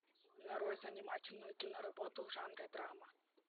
нарой занимательную киноработу в жанре драма